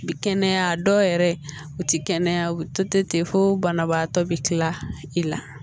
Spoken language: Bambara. Kɛnɛya dɔw yɛrɛ u tɛ kɛnɛya u bɛ to ten fo banabaatɔ bɛ kila i la